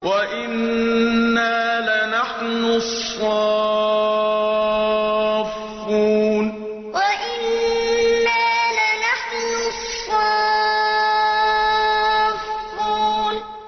وَإِنَّا لَنَحْنُ الصَّافُّونَ وَإِنَّا لَنَحْنُ الصَّافُّونَ